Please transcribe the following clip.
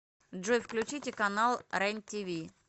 джой включите канал рен тиви